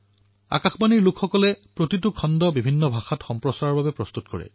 আকাশবাণীৰ টীমে প্ৰতিটো খণ্ড বিভিন্ন ভাষাত সম্প্ৰচাৰ কৰাৰ বাবে প্ৰস্তুত কৰে